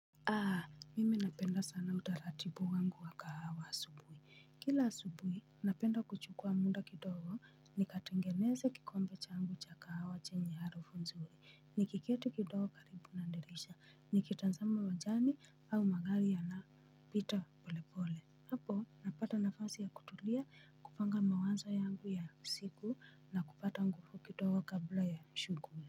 Aaa mimi napenda sana utaratibu wangu wa kahawa asubuhi kila asubuhi napenda kuchukua muda kidogo nikatengeneze kikombe changu cha kahawa chenye harufu nzuri nikiketi kidogo karibu na dirisha nikitazama uwajani au magari yana pita polepole hapo napata nafasi ya kutulia, kupanga mawazo yangu ya siku na kupata nguvu kidogo kabla ya shughuli.